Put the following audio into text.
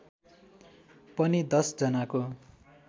पनि १० जनाको